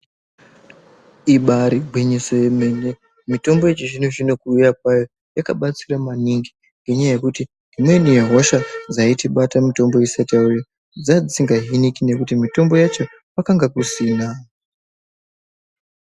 Ibari gwinyiso yemene mitombo yechizvino -zvino kuuya kwayo, yakabatsira maningi ngenyaya yekuti imweni yehosha dzaitibata mitombo isati yauya dzanga isinga hiniki ngekuti mitombo yacho kwakanga kusina.